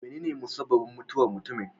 Menene musabbabin mutuwar mutumin?